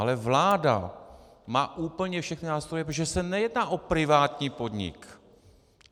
Ale vláda má úplně všechny nástroje, protože se nejedná o privátní podnik!